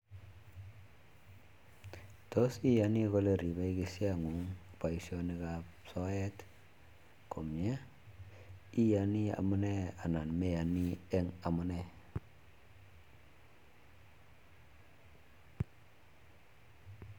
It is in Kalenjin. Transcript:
Tos iyani kole ripei kisiet ngung boisietab soet komnyee? Iyanii amune anan meyani eng amune?